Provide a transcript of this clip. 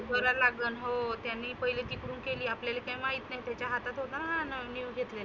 बोलावा लागन हो. त्यांनी पहिली तिकडुन केली आपल्याले काही माहित नाही त्याच्या हातात होता नविन घेतले.